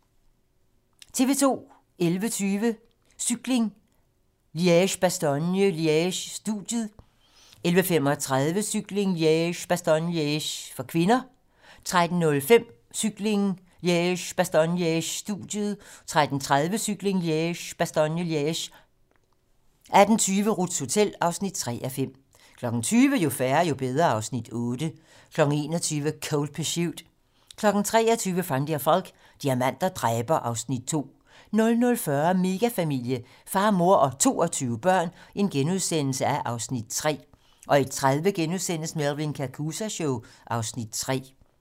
11:20: Cykling: Liège-Bastogne-Liège - studiet 11:35: Cykling: Liège-Bastogne-Liège (k) 13:05: Cykling: Liège-Bastogne-Liège - studiet 13:30: Cykling: Liège-Bastogne-Liège 18:20: Ruths hotel (3:5) 20:00: Jo færre, jo bedre (Afs. 8) 21:00: Cold Pursuit 23:00: Van der Valk - diamanter dræber (Afs. 2) 00:40: Megafamilie - far, mor og 22 børn (Afs. 3)* 01:30: Melvin Kakooza Show (Afs. 3)*